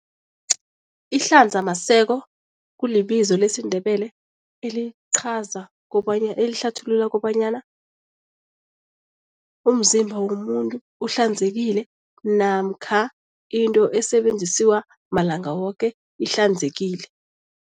Ihlanzamaseko kulibizo lesiNdebele elichaza elihlathulula kobanyana umzimba womuntu uhlanzekile namkha into esebenzisiwa malanga woke ihlanzekile.